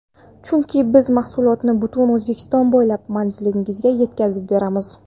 Chunki: - Biz mahsulotni butun O‘zbekiston bo‘ylab manzilingizga yetkazib beramiz!